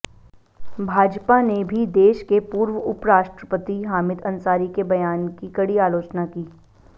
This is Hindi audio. भाजपा ने भी देश के पूर्व उपराष्ट्रपति हामिद अंसारी के बयान की कड़ी आलोचना की